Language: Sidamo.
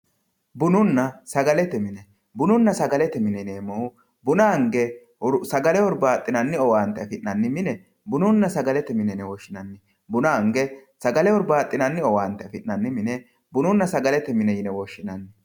bununna sagalete mine bununna sagalete mine yineemmo woyte sagle hurbaaxinanni owantanni mine bununna sagalete mine yine woshshinanni